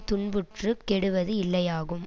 துன்புற்றுக் கெடுவது இல்லையாகும்